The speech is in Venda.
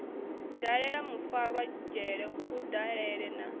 dalela mufarwa dzhele kudalele na